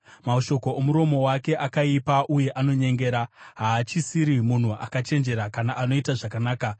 Mashoko omuromo wake akaipa uye anonyengera; haachisiri munhu akachenjera kana anoita zvakanaka.